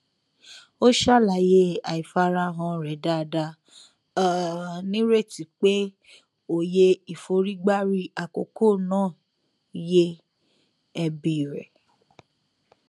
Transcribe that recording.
ó ṣàlàyé àìfarahàn rẹ dáadáa um nírètí pé òye ìforígbárí àkókò náà yé ẹbí rẹ